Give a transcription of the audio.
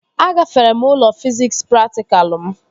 Agafere m ule fiziks praktikalụ m